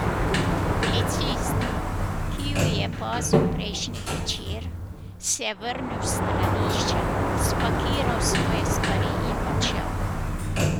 Policist, ki ju je pazil prejšnji večer, se je vrnil s stranišča, spakiral svoje stvari in odšel.